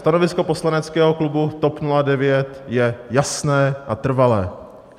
Stanovisko poslaneckého klubu TOP 09 je jasné a trvalé.